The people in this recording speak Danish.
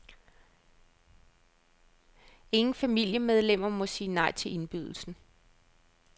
Ingen familiemedlemmer må sige nej til indbydelsen.